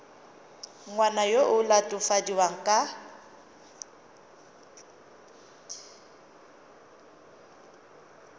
ngwana yo o latofadiwang ka